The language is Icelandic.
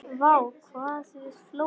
Vá hvað við hlógum.